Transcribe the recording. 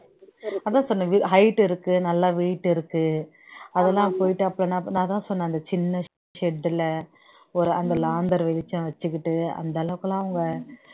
அதான் சொன்னேன் height இருக்கு நல்லா weight இருக்கு அதெல்லாம் போயிட்டு அப்புறம் நான் அதான் சொன்னேன் அந்த சின்ன shed ல ஒரு அந்த லாந்தர் வெளிச்சம் வச்சுக்கிட்டு அந்த அளவுக்கு எல்லாம் அவங்க